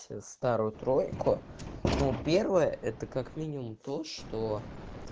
старую тройку ну первое это как минимум то что